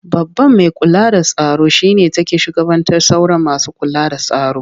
Babban mai kula da tsaro shi ne take shugabantar sauran masu kula da tsaro.